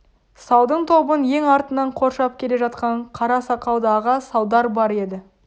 салдың тобын ең артынан қоршап келе жатқан қара сақалды аға салдар бар еді